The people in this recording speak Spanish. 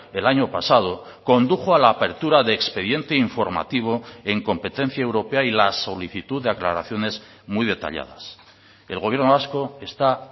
el año pasado condujo a la apertura de expediente informativo en competencia europea y la solicitud de aclaraciones muy detalladas el gobierno vasco está